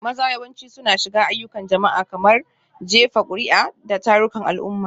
Maza yawanci suna shiga ayyukan jama'a, kamar jefa kuri'a da tarukan al'umma.